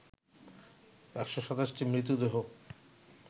১২৭ টি মৃতদেহ